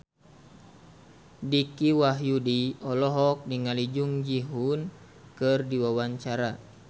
Dicky Wahyudi olohok ningali Jung Ji Hoon keur diwawancara